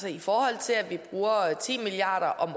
at i forhold til at vi bruger ti milliard